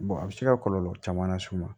a bɛ se ka kɔlɔlɔ caman las'u ma